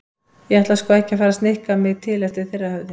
Ég ætla sko ekki að fara að snikka mig til eftir þeirra höfði.